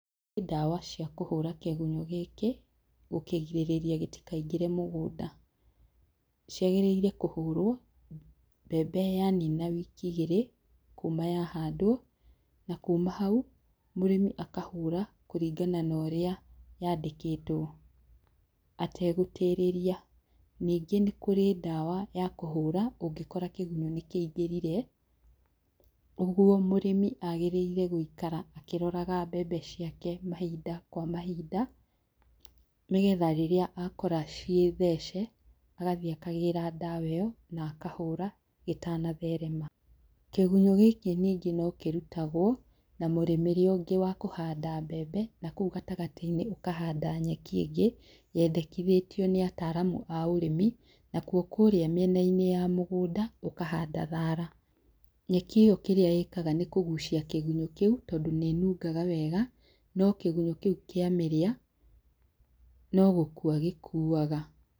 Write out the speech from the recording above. Kũrĩ ndawa ciakũhũra kĩgunyũ gĩkĩ gũkĩgirĩrĩria gĩtikaingĩre mũgũnda ciagĩrĩire kũhũrwo mbembe yanina ciumia igĩrĩ kuma ya handwo na kuma na hau mũrĩmi akahũra kũringana na ũrĩa yandĩkĩtwo ategũtĩrĩria. Ningĩ nĩ kũrĩ ndawa ya kũhũra ũngĩkora kĩgunyũ nĩkĩingĩrire ũguo mũrĩmi agĩrĩire gũikara akĩroraga mbembe ciake mahinda kwa mahinda nĩgetha rĩrĩa akora cirĩ thece agathie akagĩra ndawa ĩyo na akahũra gĩtanatherema. Kĩgunyo gĩkĩ ningĩ no kĩrutagwo na mũrimĩre ũngĩ wa kuhanda mbembe na kũu gatagatĩinĩ ũkahanda nyeki ĩngĩ yendekithitio nĩ ataramu a ũrĩmi na kurĩa mĩenainĩ ya mũgũnda ũkahanda thara. Nyeki ĩyo kĩrĩa ĩkaga nĩ kũgucia kĩgunyo kĩu tondũ nĩĩnungaga wega no kĩgunyũ kĩu kĩamĩria no gũkua gikuaga.